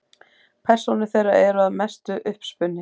Persónur þeirra eru að mestu uppspuni.